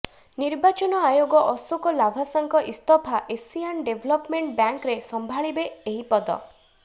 ନିର୍ବାଚନ ଆୟୋଗ ଅଶୋକ ଲାଭାସାଙ୍କ ଇସ୍ତଫା ଏସିଆନ ଡେଭଲପମେଣ୍ଟ ବ୍ୟାଙ୍କରେ ସମ୍ଭାଳିବେ ଏହି ପଦ